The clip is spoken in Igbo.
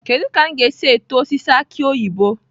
Kedu ka m ga-esi eto osisi aki oyibo?